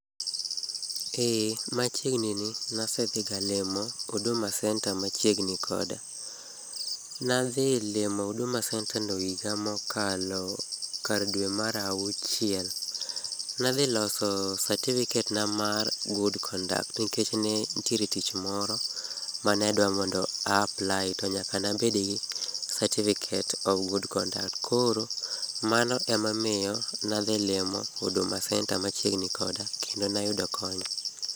Ee, machiegni nasedhigalimo huduma center machiegni koda. Nadhilimo huduma center no higa mokalo kar dwe mar auchiel. Nadhiloso satifiket na mar good conduct nikech ne ntiere tich moro, ma ne adwa mondo a apply, to nyaka nabed gi certificate of good conduct. Koro, mano emomiyo nadhilimo huduma center machiegni koda kendo nayudo kony.